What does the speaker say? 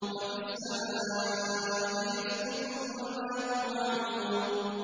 وَفِي السَّمَاءِ رِزْقُكُمْ وَمَا تُوعَدُونَ